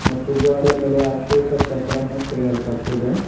ಮತ್ತು ಗೋಡೆ ಮೇಲೆ ಅಶೋಕ ಚಕ್ರನ್ನು ತೆಗೆಯಲ್ಪಟ್ಟಿದೆ.